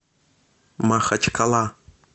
махачкала